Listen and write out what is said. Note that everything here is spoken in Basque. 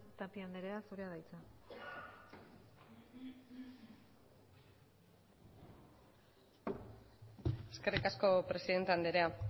tapia andrea zurea da hitza eskerrik asko presidente andrea